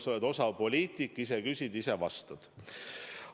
Sa oled osav poliitik: ise küsid, ise vastad.